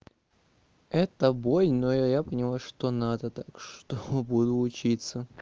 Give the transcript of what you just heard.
это бой но я я поняла что надо так что буду учиться